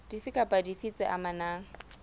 dife kapa dife tse amanang